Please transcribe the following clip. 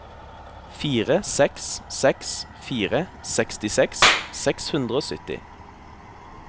fire seks seks fire sekstiseks seks hundre og sytti